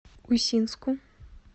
усинску